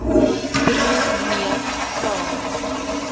broer neef pa